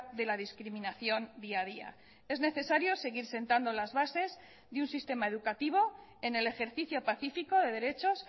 de la discriminación día a día es necesario seguir sentando las bases de un sistema educativo en el ejercicio pacífico de derechos